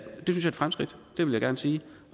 er et fremskridt det vil jeg gerne sige